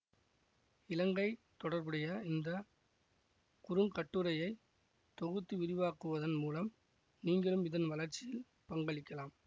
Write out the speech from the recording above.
இலங்கை தொடர்புடைய இந்த குறுங்கட்டுரையை தொகுத்து விரிவாக்குவதன் மூலம் நீங்களும் இதன் வளர்ச்சியில் பங்களிக்கலாம்